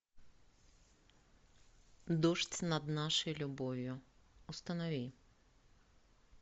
дождь над нашей любовью установи